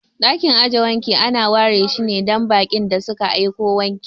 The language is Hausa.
Ɗakin aje wanki ana ware shine dan baƙin da suka aiko wanki.